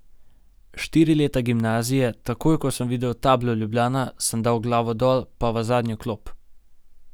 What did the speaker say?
Štiri leta gimnazije, takoj ko sem videl tablo Ljubljana, sem dal glavo dol pa v zadnjo klop.